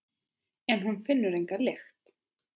En hún finnur enga lykt.